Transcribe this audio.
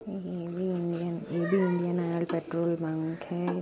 ये भी इंडियन ये भी इंडियन ऑइल पेट्रोल पंक है